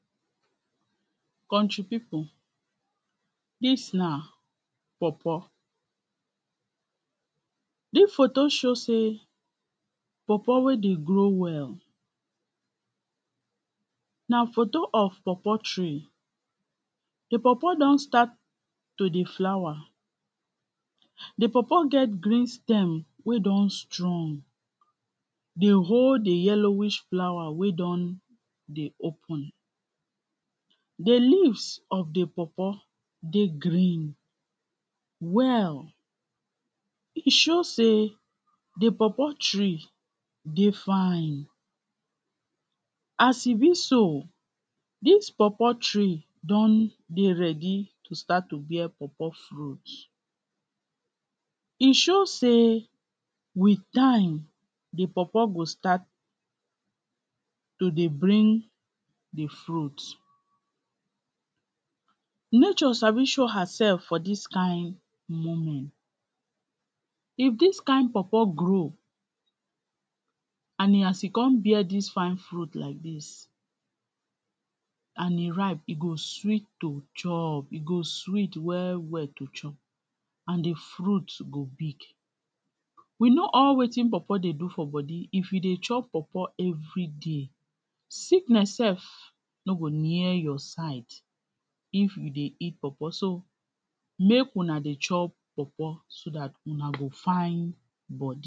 kountry people, this na pawpaw this photo show sey pawpaw wey dey grow well na photo of pawpaw tree dey pawpaw don start to dey flower the pawpaw get green stem wey don strong dey hold the yellowish flower wey don dey open the leaves of the pawpaw dey green well e show sey the pawpaw tree dey fine as e be so this pawpaw tree don dey ready to start to bear pawpaw fruit e show sey wit time the pawpaw go start to dey bring the fruit nature sabi show herself for this kind moment if this kind pawpaw grow an e come bear this fine fruit like this an e ripe, e go sweet to chop, e go sweet well well to chop an the fruit go big we know all wetin pawpaw dey do for body if you chop pawpaw everyday sickness sef no go near your side if you dey eat pawpaw so so make una dey chop pawpaw so that ona go fine body